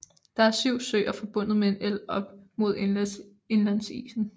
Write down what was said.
Der er 7 søer forbundet med en elv op mod indlandsisen